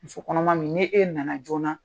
Muso kɔnɔma min n'e na na joona.